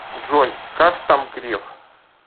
джой как там греф